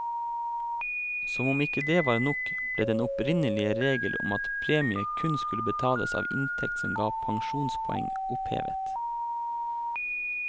Som om ikke det var nok, ble den opprinnelige regel om at premie kun skulle betales av inntekt som ga pensjonspoeng, opphevet.